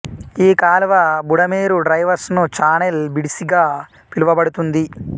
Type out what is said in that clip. ఈ కాలువ Budameru diversion channel BDC గా పిలువబడుతుంది